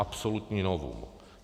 Absolutní novum.